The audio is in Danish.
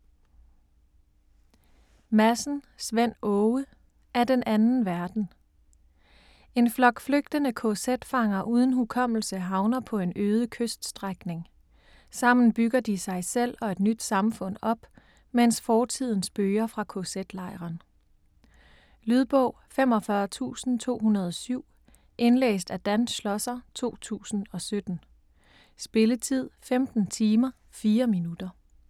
Madsen, Svend Åge: Af den anden verden En flok flygtende kz-fanger uden hukommelse havner på en øde kyststrækning. Sammen bygger de sig selv og et nyt samfund op, mens fortiden spøger fra kz-lejren. Lydbog 45207 Indlæst af Dan Schlosser, 2017. Spilletid: 15 timer, 4 minutter.